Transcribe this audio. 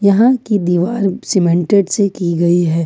यहां की दीवार सीमेंटेड से की गई है।